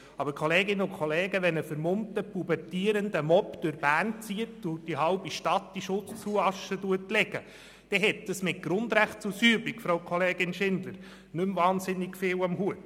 Aber, Kolleginnen und Kollegen, wenn ein vermummter, pubertierender Mob durch Bern zieht und die halbe Stadt in Schutt und Asche legt, dann hat das mit Grundrechtsausübung, Frau Kollegin Schindler, nicht mehr unglaublich viel zu tun.